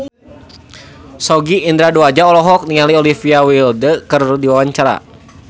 Sogi Indra Duaja olohok ningali Olivia Wilde keur diwawancara